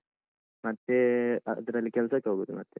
ಮತ್ತೇ ಅದ್ರಲ್ಲಿ ಕೆಲ್ಸಕ್ಕೆ ಹೋಗುದು ಮತ್ತೆ.